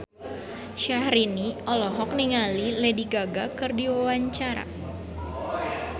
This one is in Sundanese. Syahrini olohok ningali Lady Gaga keur diwawancara